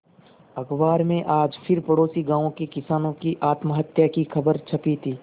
अखबार में आज फिर पड़ोसी गांवों के किसानों की आत्महत्या की खबर छपी थी